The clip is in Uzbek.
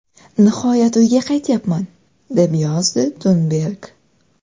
Nihoyat uyga qaytyapman!”, deb yozdi Tunberg.